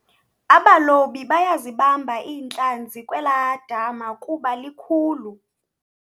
Abalobi bayazibamba iintlanzi kwelaa dama kuba likhukhulu.